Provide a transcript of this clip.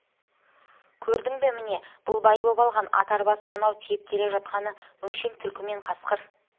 көрдің бе міне бұл бай боп алған ат-арбасы мынау тиеп келе жатқаны өңшең түлкі мен қасқыр